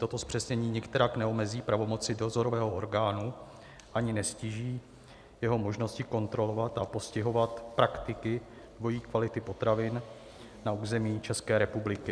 Toto zpřesnění nikterak neomezí pravomoci dozorového orgánu ani neztíží jeho možnosti kontrolovat a postihovat praktiky dvojí kvality potravin na území České republiky.